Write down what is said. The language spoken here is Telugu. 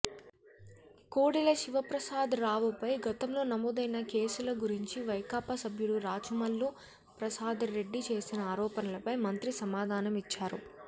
కోడెల శివప్రసాదరావుపై గతంలో నమోదైన కేసుల గురించి వైకాపా సభ్యుడు రాచమల్లు ప్రసాద్రెడ్డి చేసిన ఆరోపణలపై మంత్రి సమాధానమిచ్చారు